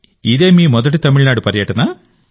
ఇదే మీ మొదటి తమిళనాడు పర్యటనా